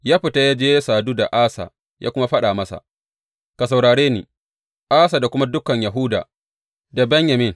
Ya fita ya je ya sadu da Asa ya kuma faɗa masa, Ka saurare ni, Asa da kuma dukan Yahuda da Benyamin.